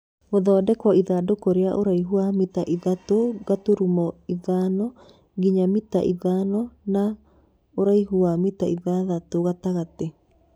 Gũthondekwo ithandũkũ rĩa ũraihu wa mita ithatũ gaturumo ithanonginya mita ithano na ũraihu wa mita ithathatũ gatagatĩ.